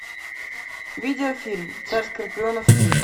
видеофильм царь скорпионов три